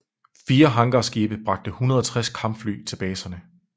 Fire hangarskibe bragte 160 kampfly til baserne